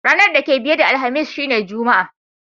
Ranan da ke biye da Alhamis shine Juma'a.